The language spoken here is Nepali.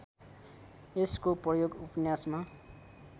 यसको प्रयोग उपन्यासमा